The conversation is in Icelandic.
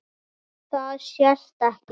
Það sést ekki.